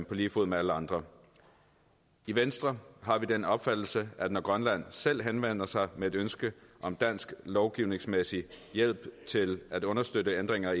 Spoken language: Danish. lige fod med alle andre i venstre har vi den opfattelse at når grønland selv henvender sig med et ønske om dansk lovgivningsmæssig hjælp til at understøtte ændringer